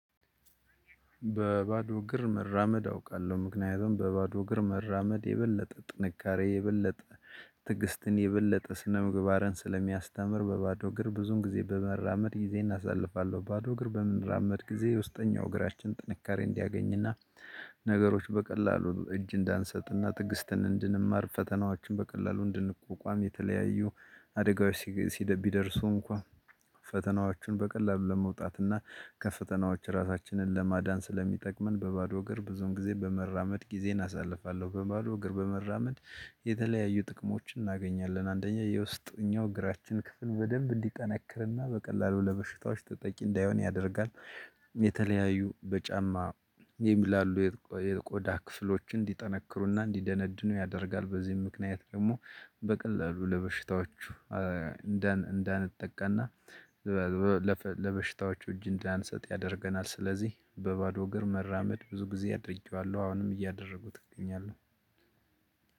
በባዶ እግር መራመድ አውቃለሁ ምክንያቱም በባዶ እግር መራመድ የበለጠ ጥንካሬ የበለጠ ትግስትን የበለጠ ስነ ምግባርን ስለሚያስተምር በባዶ እግር ብዙን ጊዜ በመራመድ ጊዜን አሳልፋለሁ። ባዶ እግር በምንራመድ ጊዜ የውስጠኛው እግራችን ጥንካሬ እንዲያገኝና ነገሮች በቀላሉ እጅ እንዳንሰጥና ጥግስትን እንድንማር ፈተናዎችን በቀላሉ እንድንቆቋም የተለያዩ አደጋዎች ሲደርሱ እንኳን ፈተናዎቹን በቀላሉ ለመውጣት እና ከፈተናዎች ራሳችንን ለማዳን ስለሚጠቅመን። በባዶ ሀገር ብዙውን ጊዜ በመራመድ ጊዜን አሳልፋለሁ። በባዶ እግር በመራመድ የተለያዩ ጥቅሞችን እናገኛለን አንደኛ የውስጥኛው እግራችን ክፍል በደንብ እንዲጠነክርና በቀላሉ ለበሽታዎች ተጠቂ እንዳይሆን ያደርጋል። በጫማ የሚላሉ የቆዳ ክፍሎች እንዲጠነክሩና እንዲደነድኑ ያደርጋል። በዚህም ምክንያት ደግሞ በቀላሉ ለበሽታዎቹ እንዳንጠቀና ለበሽታዎቹ እጅ እንዳንሰጥ ያደርገናል። ስለዚህ በባዶ እግር መራመድ ብዙ ጊዜ አድርጌዋለሁ አሁንም እያደረጉት እገኛለሁ።